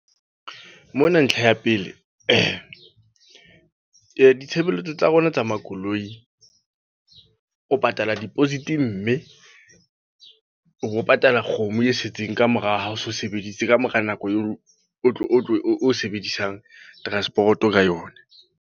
Mona ntlha ya pele, ditshebeletso tsa rona tsa makoloi. O patala deposit mme, o bo patala kgomo e setseng kamora ha o so sebedise. Ka mora nako o tlo, o sebedisang transport-o ka yona.